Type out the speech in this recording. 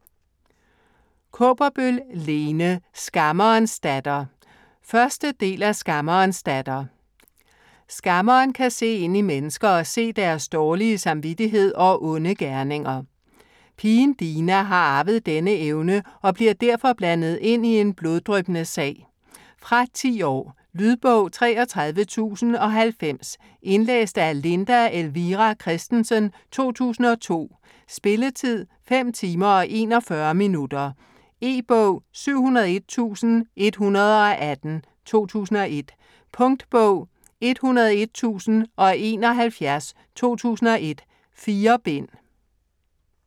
Kaaberbøl, Lene: Skammerens datter 1. del af Skammerens datter. Skammeren kan se ind i mennesker og se deres dårlige samvittighed og onde gerninger. Pigen Dina har arvet denne evne og bliver derfor blandet ind i en bloddryppende sag. Fra 10 år. Lydbog 33090 Indlæst af Linda Elvira Kristensen, 2002. Spilletid: 5 timer, 41 minutter. E-bog 701118 2001. Punktbog 101071 2001. 4 bind.